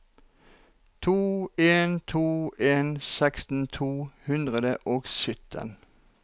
to en to en seksten to hundre og sytten